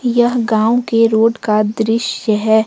यह गांव के रोड का दृश्य है।